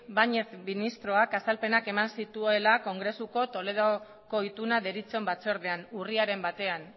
báñez ministroak azalpenak eman zituela kongresuko toledoko ituna deritzon batzordean urriaren batean